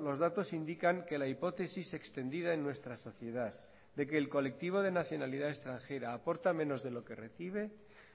los datos indican que la hipótesis extendida en nuestra sociedad de que el colectivo de nacionalidad extranjera aporta menos de lo que recibe